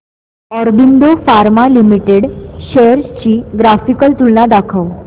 Aurobindo pharma limited shares ची graphical तुलना दाखव